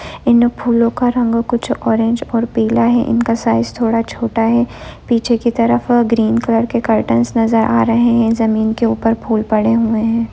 इन फूलों का रंग कुछ ऑरेंज और पीला है इनका साइज थोड़ा छोटा है पीछे की तरफ ग्रीन कलर के कार्टन नजर आ रहे हैं जमीन के ऊपर फूल पड़े हुए हैं ।